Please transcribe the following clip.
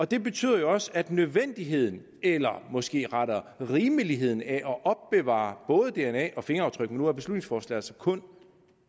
det betyder jo også at nødvendigheden eller måske rettere rimeligheden af at opbevare både dna og fingeraftryk men nu er beslutningsforslaget kun